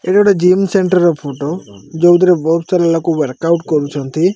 ଏଇ ଗୋଟେ gym centre ର ଫଟୋ ଯୋଉଥିରେ ବହୁତ୍ ସାରା ଲୋକ ୱାର୍କ ଆଉଟ୍ କରୁଚନ୍ତି।